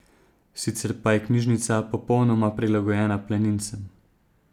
Sicer pa je knjižica popolnoma prilagojena planincem.